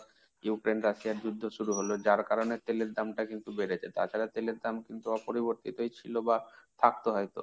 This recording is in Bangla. Ukraine Russia র যুদ্ধ শুরু হলো যার কারণে তেলের দাম টা কিন্তু একটু বেড়েছে। তাছাড়া তেলের দাম কিন্তু অপরিবর্তিত ছিল বা থাকতে হয়তো।